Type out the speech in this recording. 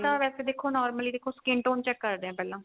ਤਾਂ ਵੈਸੇ ਦੇਖੋ normally ਦੇਖੋ skin tone check ਕਰਦੇ ਆ ਪਹਿਲਾਂ